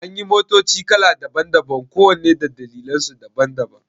Anyi motoci kala daban-daban kowanne da dalilansu daban-daban